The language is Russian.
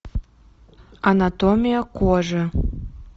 анатомия кожи